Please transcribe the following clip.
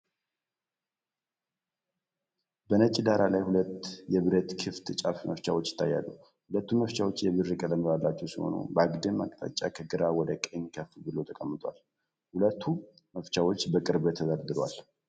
በነጭ ዳራ ላይ ሁለት የብረት ክፍት ጫፍ መፍቻዎች ይታያሉ። ሁለቱም መፍቻዎች የብር ቀለም ያላቸው ሲሆኑ፤ በአግድም አቅጣጫ ከግራ ወደ ቀኝ ከፍ ብለው ተቀምጠዋል። ሁለቱ መፍቻዎች በቅርበት ተደርድረዋል።